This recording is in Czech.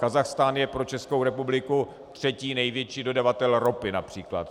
Kazachstán je pro Českou republiku třetí největší dodavatel ropy, například.